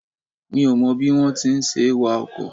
Mi ò mọ bí wón ti ń ṣe wa ọkọ̀.